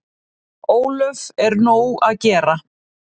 Ólöf: Er nóg að gera?